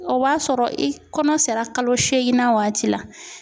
O b'a sɔrɔ i kɔnɔ sera kalo seeginnan waati la.